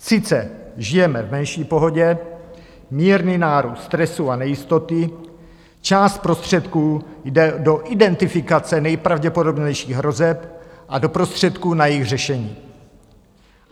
Sice žijeme v menší pohodě, mírný nárůst stresu a nejistoty, část prostředků jde do identifikace nejpravděpodobnějších hrozeb a do prostředků na jejich řešení.